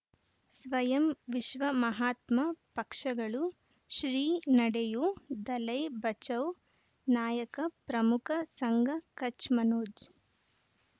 ಸ್ವಯಂ ವಿಶ್ವ ಮಹಾತ್ಮ ಪಕ್ಷಗಳು ಶ್ರೀ ನಡೆಯೂ ದಲೈ ಬಚೌ ನಾಯಕ ಪ್ರಮುಖ ಸಂಘ ಕಚ್ ಮನೋಜ್